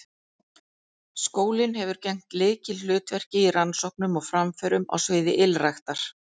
Skólinn hefur gegnt lykilhlutverki í rannsóknum og framförum á sviði ylræktar.